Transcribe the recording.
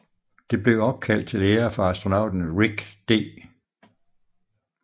Det blev opkaldt til ære for astronauten Rick D